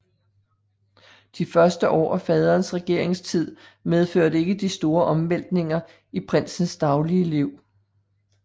De første år af faderens regeringstid medførte ikke de store omvæltninger i prinsens daglige liv